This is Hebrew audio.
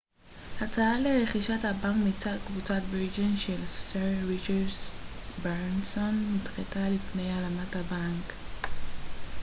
הצעה לרכישת הבנק מצד קבוצת וירג'ן של סר ריצ'רד ברנסון נדחתה לפני הלאמת הבנק